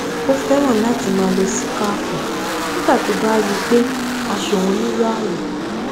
ó fẹràn láti máa lo síkáàfù nígbà tí ó bá rí i pé aṣọ òun nílò àwọ